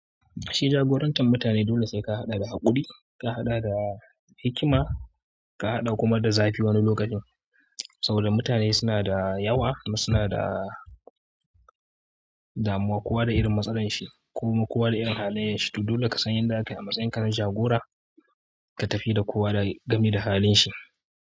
Shi jagorantar mutane dole sai ka haɗa da haƙuri, ka haɗa da hikima, ka haɗa kuma da zafi wani lokacin. Saboda mutane suna da yawa, suna da damuwa, kowa da irin matsalar shi ko kuwa da irin halayen shi. To dole ka san yadda ake a matsayin ka na jagora ka tafi da kowa lau gami da halin shi.